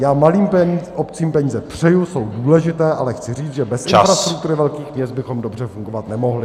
Já malým obcím peníze přeji, jsou důležité, ale chci říct, že bez infrastruktury velkých měst bychom dobře fungovat nemohli.